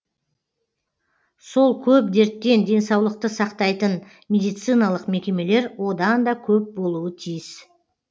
сол көп дерттен денсаулықты сақтайтын медициналық мекемелер одан да көп болуы тиіс